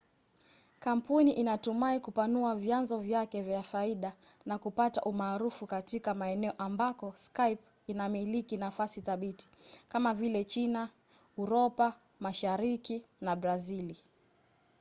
kampuni inatumai kupanua vyanzo vyake vya faida na kupata umaarufu katika maeneo ambako skype inamiliki nafasi thabiti kama vile china uropa mashariki na brazili